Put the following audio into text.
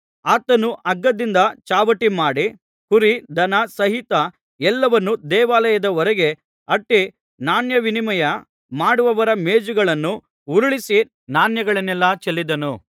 ಆತನು ಹಗ್ಗದಿಂದ ಚಾವಟಿ ಮಾಡಿ ಕುರಿ ದನ ಸಹಿತ ಎಲ್ಲವನ್ನೂ ದೇವಾಲಯದ ಹೊರಕ್ಕೆ ಅಟ್ಟಿ ನಾಣ್ಯವಿನಿಮಯ ಮಾಡುವವರ ಮೇಜುಗಳನ್ನು ಉರುಳಿಸಿ ನಾಣ್ಯಗಳನೆಲ್ಲ ಚೆಲ್ಲಿದನು